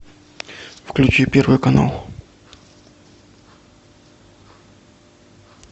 включи первый канал